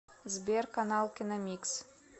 сбер канал киномикс